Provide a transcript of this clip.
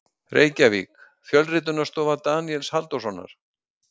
Reykjavík: Fjölritunarstofa Daníels Halldórssonar.